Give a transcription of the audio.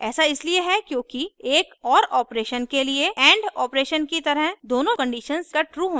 ऐसा इसलिए होता है क्योंकि एक or operation के लिए and operation की तरह दोनों conditions का true होना आवश्यक नहीं है